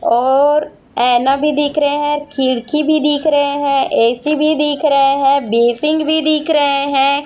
और ऐना भी दिख रहे हैं खिड़की भी दिख रहे हैं ए_सी भी दिख रहे है बेसिंग भी दिख रहे हैं।